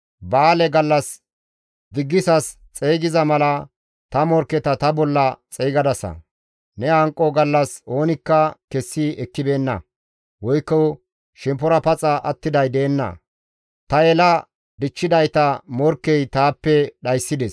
Ba7aale gallas diggisas xeygiza mala ta morkketa ta bolla xeygadasa; ne hanqo gallas oonikka kessi ekkibeenna; woykko shemppora paxa attiday deenna; ta yela dichchidayta morkkey taappe dhayssides.